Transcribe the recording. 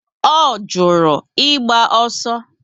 O juru ịgba ọsọ